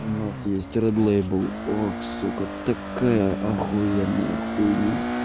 у нас есть ред лейбел ох сука такая ахуенная хуйня